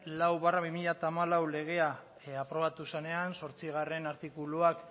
lau barra bi mila hamalau legea aprobatu zenean zortzigarrena artikuluak